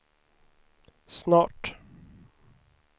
snart